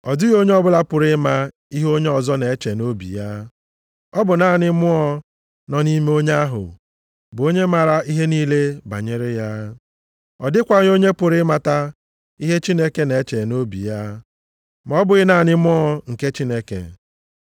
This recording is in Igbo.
Ọ dịghị onye ọbụla pụrụ ịma ihe onye ọzọ na-eche nʼobi ya. Ọ bụ naanị mmụọ nọ nʼime onye ahụ bụ onye mara ihe niile banyere ya. Ọ dịkwaghị onye pụrụ ịmata ihe Chineke na-eche nʼobi ya, ma ọ bụghị naanị Mmụọ nke Chineke.